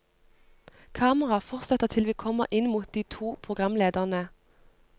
Kameraet fortsetter til vi kommer inn mot de to programlederne.